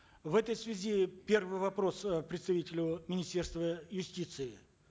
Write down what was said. в этой связи первый вопрос э представителю министерства юстиции